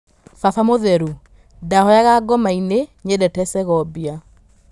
Baba mũtherũ: Ndahoyaga ngoma nĩ nyendete Segobia